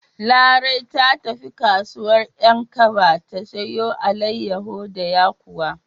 Larai ta tafi kasuwar 'Yankaba ta siyo alaiyawu da yakuwa.